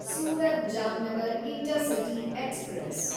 Surat Jamnagar intercity express